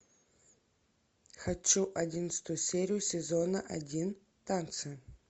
хочу одиннадцатую серию сезона один танцы